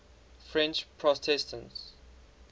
french protestants